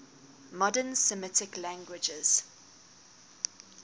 modern semitic languages